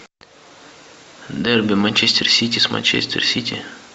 дерби манчестер сити с манчестер сити